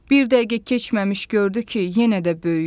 Bir dəqiqə keçməmiş gördü ki, yenə də böyüyür.